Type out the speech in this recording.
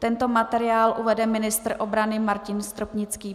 Tento materiál uvede ministr obrany Martin Stropnický.